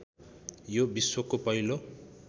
यो विश्वको पहिलो